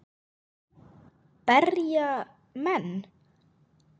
Berja menn.?